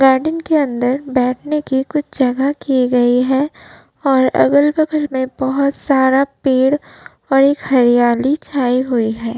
Garden के अंदर बैठने की कुछ जगह कि गई है और अगल-बगल में बोहोत सारा पेड़ और एक हरियाली छाई हुई है।